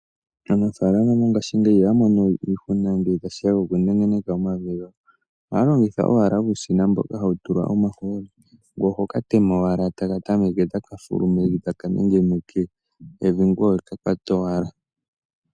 Aanafaalama mongaashingeyi ihaya mono iihuna ngele tashiya pokunengeneka omvi gawo. Ohaya longitha owala uushina mboka hawu tulwa omahooli ngoye ohoka tema owala etaka tameke taka fulu mevi taka nengeneke evi ngoye oweka kwata owala.